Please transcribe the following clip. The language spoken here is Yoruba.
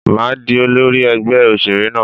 Màá di olórí ẹgbẹ́ òṣèré náà.